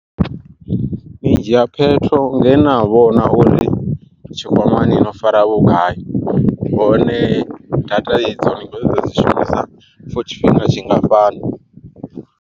Ni dzhia phetho ngena vhona uri tshikwamani no fara vhugai, hone data idzo ni kho ṱoḓa u dzi shumisa for tshifhinga tshingafhani.